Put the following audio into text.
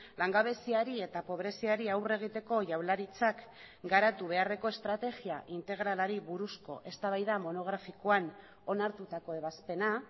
langabeziari eta pobreziari aurre egiteko jaurlaritzak garatu beharreko estrategia integralari buruzko eztabaida monografikoan onartutako ebazpena